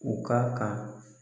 U ka kan